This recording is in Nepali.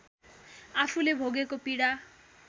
आफूले भोगेको पीडा